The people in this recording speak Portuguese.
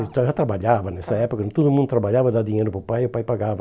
Ele já trabalhava nessa época, todo mundo trabalhava, dava dinheiro para o pai e o pai pagava.